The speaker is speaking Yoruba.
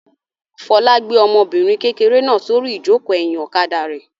Fọlá gbé ọmọbìnrin kékeré náà sórí ìjókòó ẹ̀yìn ọ̀kadà rẹ̀.